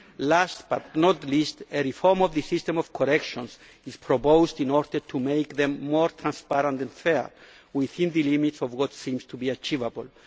table. Last, but not least, a reform of the system of corrections is proposed in order to make them more transparent and fair, within the limits of what seems to be achievable.